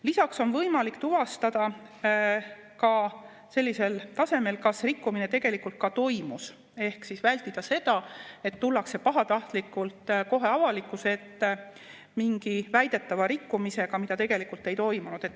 Lisaks on võimalik tuvastada sellisel tasemel, kas rikkumine tegelikult ka toimus, ehk vältida seda, et tullakse pahatahtlikult kohe avalikkuse ette mingi väidetava rikkumisega, mida tegelikult ei toimunud.